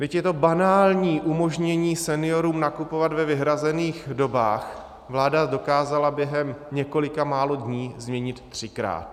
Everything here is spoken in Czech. Byť je to banální umožnění seniorům nakupovat ve vyhrazených dobách, vláda dokázala během několika málo dní změnit třikrát.